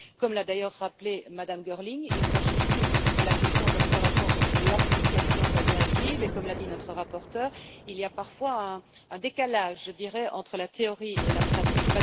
Comme l'a d'ailleurs rappelé Mme Girling, il s'agit ici de la question de l'observation de l'application de la directive, et comme l'a dit notre rapporteure, il y a parfois un décalage entre la théorie et la pratique.